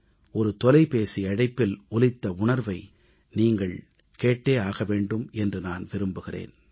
ஒரு தொலைபேசி அழைப்பில் ஒலித்த உணர்வை நீங்கள் கேட்டே ஆக வேண்டும் என்று நான் விரும்புகிறேன்